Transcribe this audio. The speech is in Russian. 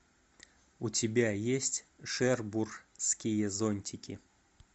у тебя есть шербурские зонтики